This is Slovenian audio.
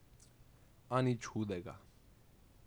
A nič hudega.